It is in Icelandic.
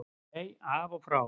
Nei, af og frá.